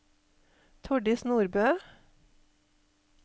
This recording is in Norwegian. Tordis Nordbø